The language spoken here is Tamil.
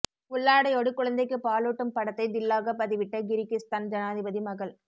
உள்ளாடையோடு குழந்தைக்கு பாலுட்டும் படத்தை தில்லாக பதிவிட்ட கிர்கிஸ்தான் ஜனாதிபதி மகள்